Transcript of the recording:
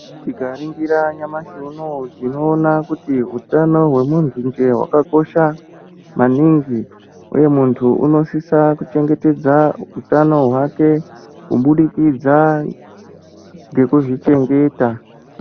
Tikaringira nyamashi unoo tinoona kuti utano hwemuntu nje hwakakosha maningi. Uye muntu unosisa kuchengetedza utano hwake kubudikidza ngekuzvichengeta.